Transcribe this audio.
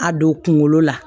A don kunkolo la